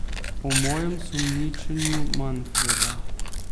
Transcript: O mojem sumničenju Manfreda.